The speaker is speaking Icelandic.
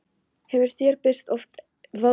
Hefur þér oft birst eitthvað svona í draumi?